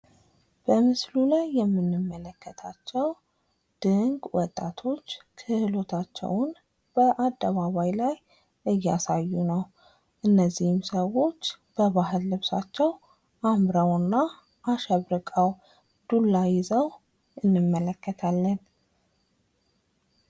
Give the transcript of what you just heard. በምስሉ ላይ የምንመለከታቸው ድንቅ ወጣቶች ክህሎታቸውን በአደባባይ እያሳዩ ሲሆን፤ እንዚህ ወጣቶች በባህል ልብሳቸው አምረውና አሸብርቀው እንዲሁም ዱላ ይዘው እንመለከታለን።